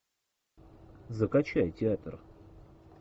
закачай театр